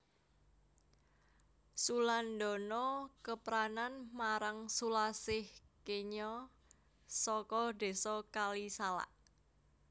Sulandana kepranan marang Sulasih kenya saka Désa Kalisalak